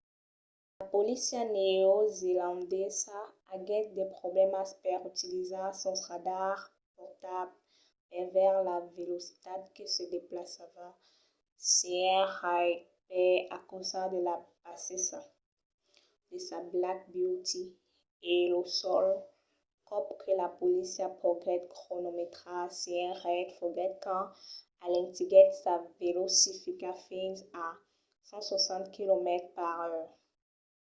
la polícia neozelandesa aguèt de problèmas per utilizar sos radars portables per veire la velocitat que se desplaçava sénher reid per encausa de la bassesa de sa black beauty e lo sol còp que la polícia poguèt cronometrar sénher reid foguèt quand alentiguèt sa velocitat fins a 160 km/h